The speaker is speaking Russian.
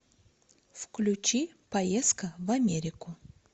включи поездка в америку